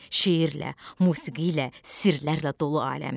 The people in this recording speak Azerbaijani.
Şeirlə, musiqi ilə, sirrlərlə dolu aləmdir.